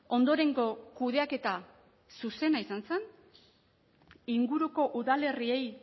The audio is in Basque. ondorengo kudeaketa zuzena izan zen inguruko udalerriei